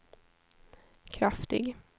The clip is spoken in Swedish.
kraftig